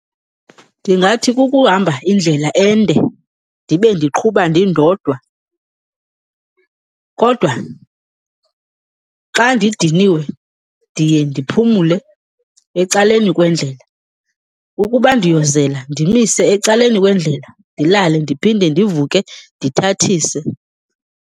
Ndingathi kukuhamba indlela ende ndibe ndiqhuba ndindodwa. Kodwa xa ndidiniwe ndiye ndiphumle ecaleni kwendlela. Ukuba ndiyozela ndimise ecaleni kwendlela ndilale, ndiphinde ndivuke ndithathise.